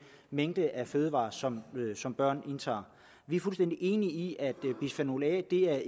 mængde af fødevarer som som børn indtager vi er fuldstændig enige i at bisfenol a ikke er